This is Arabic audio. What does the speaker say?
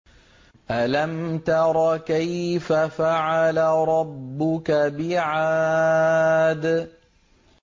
أَلَمْ تَرَ كَيْفَ فَعَلَ رَبُّكَ بِعَادٍ